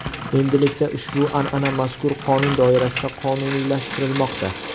Endilikda ushbu an’ana mazkur qonun doirasida qonuniylashtirilmoqda.